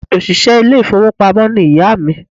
Òṣìṣẹ́ ilé ìfowópamó ni ìyá à mi